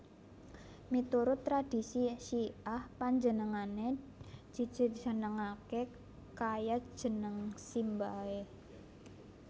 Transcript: Miturut tradhisi Syi ah panjenengané dijenengaké kaya jeneng simbahé